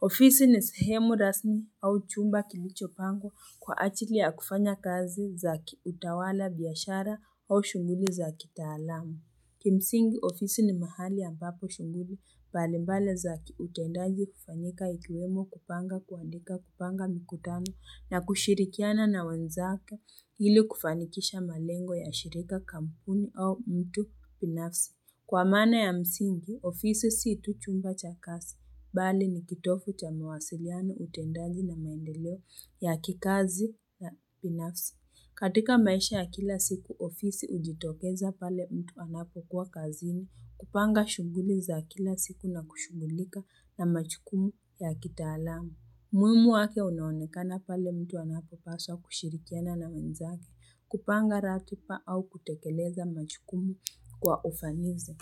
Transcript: Ofisi ni sehemu rasmi au chumba kilicho pangwa kwa ajili ya kufanya kazi za kiutawala biashara au shughuli za kitaalam. Kimsingi ofisi ni mahali ambapo shughuli mbalimbali za kiutendaji hufanyika ikiwemo kupanga kuandika kupanga mikutano na kushirikiana na wanzake ili kufanikisha malengo ya shirika kampuni au mtu binafsi. Kwa maana ya msingi, ofisi si tu chumba cha kazi. Bali ni kitovu cha mawasiliano utendaji na maendeleo ya kikazi ya binafsi. Katika maisha ya kila siku, ofisi hujitokeza pale mtu anapo kuwa kazini. Kupanga shughuli za kila siku na kushughulika na majukumu ya kitaalam. Muhimu wake unaonekana pale mtu anapo paswa kushirikiana na wenzake. Kupanga ratiba au kutekeleza majukumu kwa ufanisi.